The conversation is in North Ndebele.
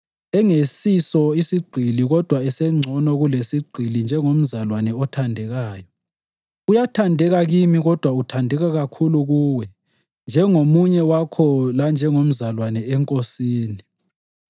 engaseyiso sigqili kodwa esengcono kulesigqili njengomzalwane othandekayo. Uyathandeka kimi kodwa uthandeka kakhulu kuwe njengomunye wakho lanjengomzalwane eNkosini.